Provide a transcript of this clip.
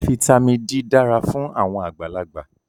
Fítàmì D dara fun awon agbalagba.